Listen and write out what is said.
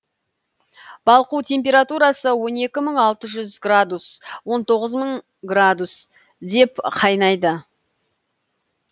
балқу температурасы он екі мың алты жүз градус он тоғыз мың градусте қайнайды